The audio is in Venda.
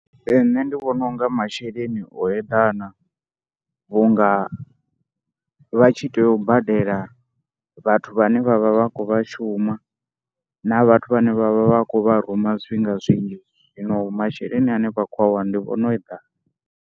Ee nṋe ndi vhona u nga masheleni o eḓana vhu nga vha tshi tea u badela vhathu vhane vha vha vha khou vha shuma na vhathu vhane vha vha vha khou vha ruma zwifhinga zwinzhi. Zwino masheleni ane vha khou a wana ndi vhona o eḓana.